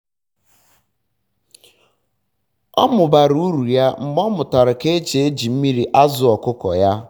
um ọ mụbara um uru ya mgbe o nyochara ka o si eji mmiri azụ ọkụkọ ya